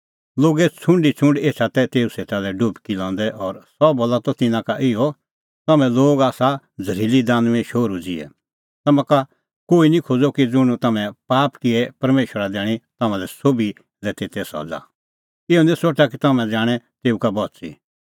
लोगे छ़ुंड ई छ़ुंड एछा तै तेऊ सेटा लै डुबकी लंदै और सह बोला त तिन्नां का इहअ तम्हैं लोग आसा झ़रीली दानुईंए शोहरू ज़िहै तम्हां का कोही निं खोज़अ कि ज़ुंण तम्हैं पाप किऐ परमेशरा दैणीं तम्हां सोभी लै तेते सज़ा इहअ निं सोठा कि तम्हैं जाणैं तेऊ का बच़ी